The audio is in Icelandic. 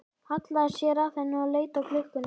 Hallaði sér að henni og leit á klukkuna.